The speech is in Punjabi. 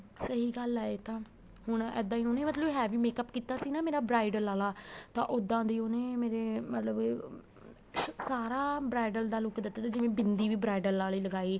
ਸਹੀ ਗੱਲ ਆ ਏ ਤਾਂ ਹੁਣ ਇੱਦਾ ਹੁਣੇ ਵੀ heavy makeup ਕੀਤਾ ਸੀ ਨਾ ਮੇਰਾ bridal ਆਲਾ ਤਾਂ ਉਹਦਾ ਦੀ ਉਹਨੇ ਮੇਰੇ ਮਤਲਬ ਸਾਰਾ bridal ਦਾ look ਦਿੱਤਾ ਸੀ ਜਿਵੇਂ ਬਿੰਦੀ ਵੀ bridal ਆਲੀ ਲਗਾਈ